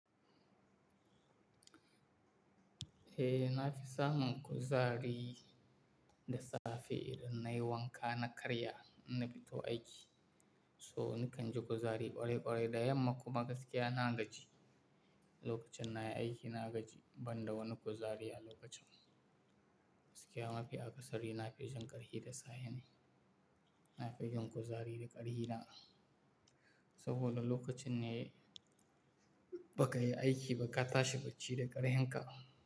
Eh, na fi samun kuzari da safe idan nayi wanka na karya na fito aiki. So nakan ji kuzari ƙwarai ƙwarai da yamma kuma gaskiya na gaji lokacin nayi aiki na gaji ban da wani kuzari a lokacin. Gaskiya mafi akasari na fi jin ƙarfi da safe ne, na fi jin kuzari da ƙarfi da. Saboda lokacin ne ba ka yi aiki ba ka tashi bacci da ƙarhin ka.